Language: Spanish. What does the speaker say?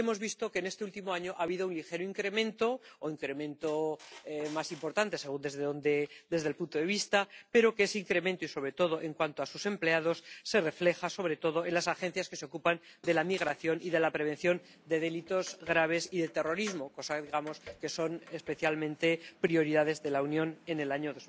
Hemos visto que en este último año ha habido un ligero incremento ―o un incremento más importante, según el punto de vista―, pero que ese incremento, y, sobre todo, en cuanto a sus empleados, se refleja, sobre todo, en las agencias que se ocupan de la migración y de la prevención de delitos graves y de terrorismo, que fueron especialmente prioridades de la Unión en el año